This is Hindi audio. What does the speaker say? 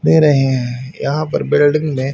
दे रहे है यहां पर बिल्डिंग में--